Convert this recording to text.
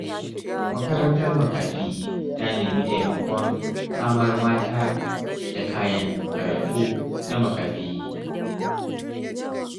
Makarantar makafi ta nemi taimakon samar mata da kayan karatu na makafi.